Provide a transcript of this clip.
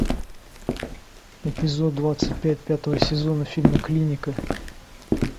эпизод двадцать пять пятого сезона фильма клиника